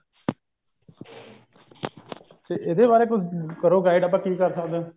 ਇਹਦੇ ਬਾਰੇ ਕਰੋ guide ਆਪਾਂ ਕਿ ਕਰ ਸਕਦੇ ਹਾਂ